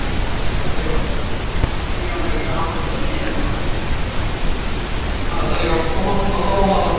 Til dæmis er algengt að fólk með lystarstol forðist að borða í návist annarra.